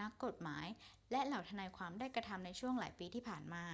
นักกฎหมาย และเหล่าทนายความได้กระทำในช่วงหลายปีที่ผ่านมา